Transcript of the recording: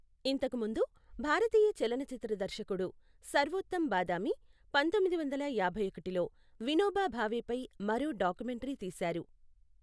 ఇంతకు ముందు, భారతీయ చలనచిత్ర దర్శకుడు సర్వోత్తమ్ బాదామి పంతొమ్మిది వందల యాభై ఒకటిలో వినోబా భావేపై మరో డాక్యుమెంటరీ తీశారు.